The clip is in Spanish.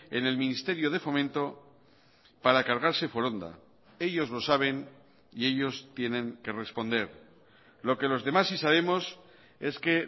en el ministerio de fomento para cargarse foronda ellos lo saben y ellos tienen que responder lo que los demás sí sabemos es que